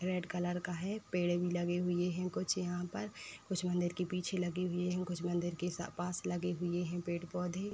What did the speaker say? Red colour का है पेड़ भी लगे हुए हैं कुछ यहाँ पर कुछ मंदिर के पीछे लगे हुए हैं कुछ मंदिर के सा पास लगे हुए हैं पेड़ पौधे।